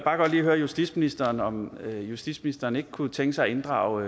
høre justitsministeren om justitsministeren ikke kunne tænke sig at inddrage